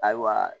Ayiwa